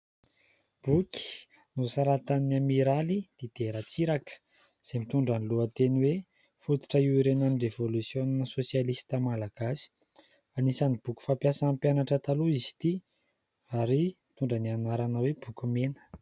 Boky nosoratan'i Amiraly "Dider" Ratsiraka izay mitondra ny lohateny hoe : "Fototra hiorenanan'ny revolisiona sosialista Malagasy". Anisan'ny boky fampiasan'ny mpianatra taloha izy ity ary mitondra ny anarana hoe : "Boky mena".